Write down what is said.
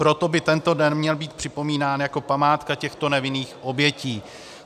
Proto by tento den měl být připomínán jako památka těchto nevinných obětí.